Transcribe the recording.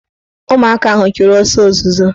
Ụmụaka ahụ chụrụ ọsọ ozuzo